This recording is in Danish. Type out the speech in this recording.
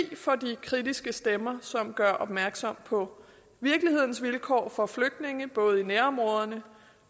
for de kritiske stemmer som gør opmærksom på virkelighedens vilkår for flygtninge både i nærområderne